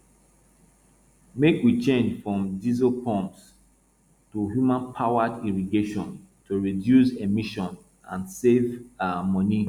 make we change from diesel pumps to humanpowered irrigation to reduce emissions and save um money